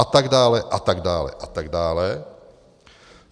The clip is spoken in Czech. A tak dále a tak dále a tak dále.